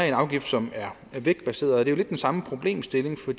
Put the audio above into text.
en afgift som er vægtbaseret jo lidt den samme problemstilling for